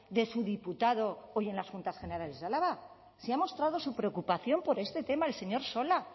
de su diputado hoy en las juntas generales de álava si ha mostrado su preocupación por este tema el señor sola